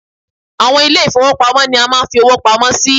Àwọn ilé ì̀fowópamọ́ ni a máa ń fi owó pamọ́ sí